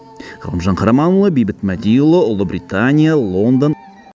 ғалымжан қараманұлы бейбіт мәдиұлы ұлыбритания лондон